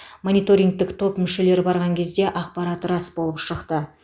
мониторингтік топ мүшелері барған кезде ақпарат рас болып шықты